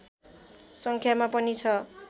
सङ्ख्यामा पनि छ